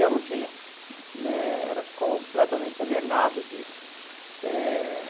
Eu não tinha, né, era completamente alienado disso. Eh